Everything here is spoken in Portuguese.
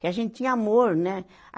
que a gente tinha amor, né?